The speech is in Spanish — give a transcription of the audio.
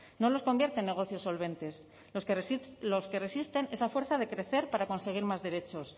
no los convierte en negocios solventes los que resisten es a fuerza de crecer para conseguir más derechos